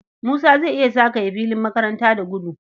Musa zai iya zagaye filin makaranta da gudu.